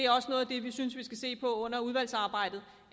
også noget af det vi synes vi skal se på under udvalgsarbejdet